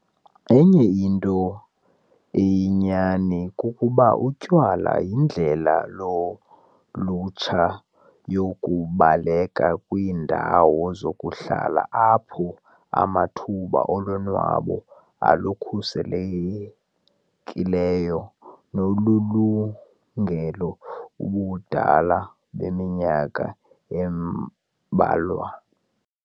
Enye into eyinyani kukuba utywala yindlela yolutsha yokubaleka kwiindawo zokuhlala apho amathuba olonwabo olukhuselekileyo nolulungele ubudala beminyaka embalwa.